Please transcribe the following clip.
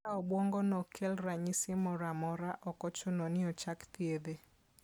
Ka obwongono ok kel ranyisi moro amora, ok ochuno ni ochak thiedhe.